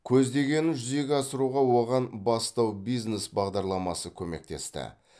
көздегенін жүзеге асыруға оған бастау бизнес бағдарламасы көмектесті